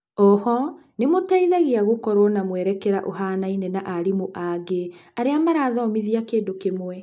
o ho nĩmũteithagia gũkorwo na mwerekera ũhanaine na arimũ angĩ aria marathomithia kindũ kĩmwe.